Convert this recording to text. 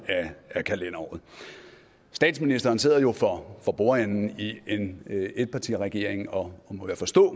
af kalenderåret statsministeren sidder for bordenden i en etpartiregering og er må jeg forstå